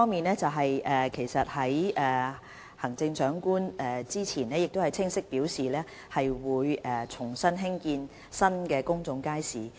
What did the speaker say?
第一，行政長官早前已清楚表明會重新興建新公眾街市。